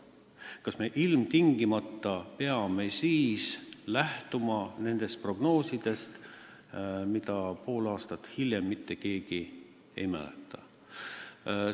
Kas me ilmtingimata peame siis lähtuma nendest prognoosidest, mida pool aastat hiljem mitte keegi ei mäleta?